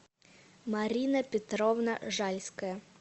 марина петровна жальская